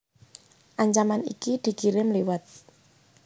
Ancaman iki dikirim liwat